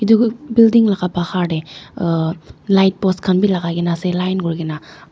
iti building laga bahar te uu..light post khan bhi lagai kena ase line kori kena.